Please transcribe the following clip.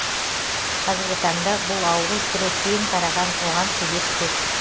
қазіргі таңда бұл ауру түрі кең тараған оған себеп көп